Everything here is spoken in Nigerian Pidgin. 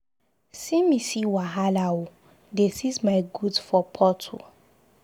See me see wahala ooo. Dey seize my goods for Port ooo.